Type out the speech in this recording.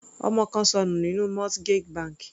Ọmọ kan ṣọnù nínú mortgage bank.